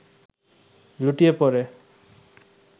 লুটিয়ে পড়ে